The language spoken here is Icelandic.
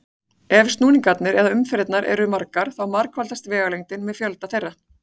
Ef snúningarnir eða umferðirnar eru margar þá margfaldast vegalengdin með fjölda þeirra.